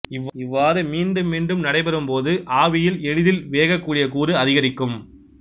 இவ்வாறு மீண்டும் மீண்டும் நடைபெறும்போது ஆவியில் எளிதிலாவியாகக்கூடிய கூறு அதிகரிக்கும்